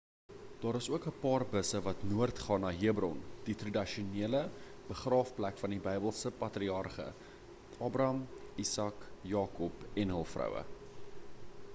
daar is ook 'n paar busse wat noord gaan na hebron die tradisionele begraafplek van die bybelse patriarge abraham isak jakob en hul vroue